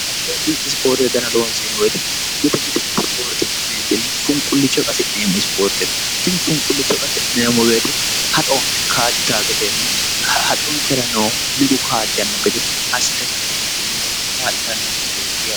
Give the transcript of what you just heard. haddi addi isipoorte dana loonsee woyite mite mite isipoorte ka'neentinni funqullicho qasi'neemmo isipoorte no itinni funqullicho qasi'neemmo beete haxonke kaajjita gedenna haxonkera noohu nigu kaajjanno gede assite ka'eentinni kaa'litannonkete'yae